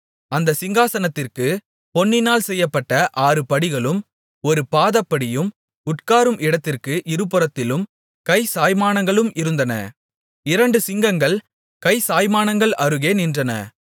அந்தச் சிங்காசனத்திற்குப் பொன்னினால் செய்யப்பட்ட ஆறு படிகளும் ஒரு பாதப்படியும் உட்காரும் இடத்திற்கு இருபுறத்திலும் கை சாய்மானங்களும் இருந்தன இரண்டு சிங்கங்கள் கை சாய்மானங்கள் அருகே நின்றன